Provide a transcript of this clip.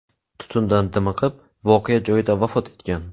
tutundan dimiqib, voqea joyida vafot etgan.